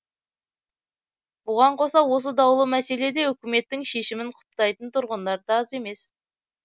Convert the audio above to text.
бұған қоса осы даулы мәселеде үкіметтің шешімін құптайтын тұрғындар да аз емес